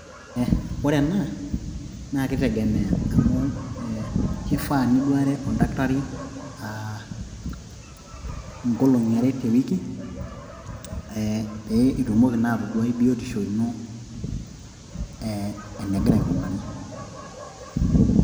Ore ena naa keitegemea amu keifaa niduare oldakitari ing'olong'i are te wiki pee etumoki atayiolo biotisho ino enegira aikunari.